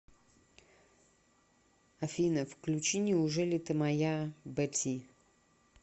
афина включи неужели ты моя бэ ти